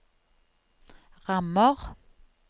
rammer